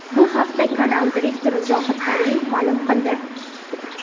Bu haqda kanal direktori Zohid Karimov ma’lum qildi.